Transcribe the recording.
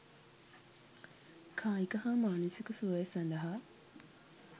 කායික හා මානසික සුවය සඳහා